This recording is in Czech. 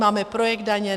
Máme projekt Daně.